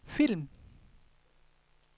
film